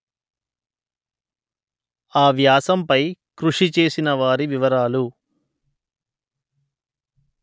ఆ వ్యాసం పై కృషి చేసిన వారి వివరాలు